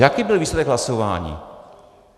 Jaký byl výsledek hlasování?